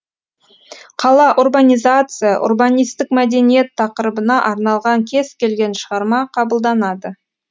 қала урбанизация урбанистік мәдениет тақырыбына арналған кез келген шығарма қабылданады